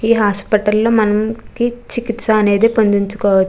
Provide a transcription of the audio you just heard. ఈ హాస్పిటల్ లో మనకి చికిత్స అనేది --